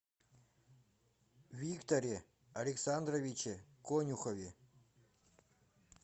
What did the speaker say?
викторе александровиче конюхове